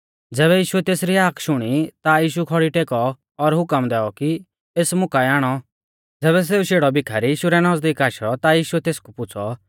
ज़ैबै यीशुऐ तेसरी हाक शुणी ता यीशु खौड़ी टेकौ और हुकम दैऔ कि एस मुं काऐ आणौ ज़ैबै सेऊ शेड़ौ भीखारी यीशु रै नज़दीक आशौ ता यीशुऐ तेसकु पुछ़ौ